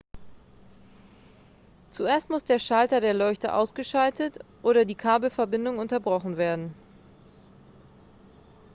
zuerst muss der schalter der leuchte ausgeschaltet oder die kabelverbindung unterbrochen werden